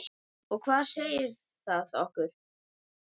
Og hvað segir það okkur?